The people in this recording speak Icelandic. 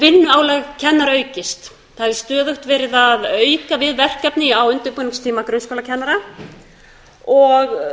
vinnuálag kennara aukist það er stöðugt verið að auka við verkefni á undirbúningstíma grunnskólakennara og minni